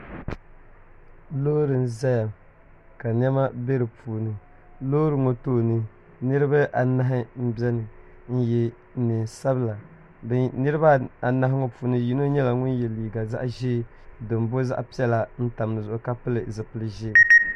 Loori n ʒɛya ka niɛma bɛ di puuni loori ŋɔ tooni niraba anahi n biɛni n nyɛ neen sabila niraba anahi ŋɔ puuni yino nyɛla ŋun yɛ liiga zaɣ ʒiɛ din bo zaɣ piɛla n tam dizuɣu ka pili zipili ʒiɛ